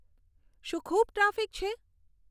શું ખૂબ ટ્રાફિક છે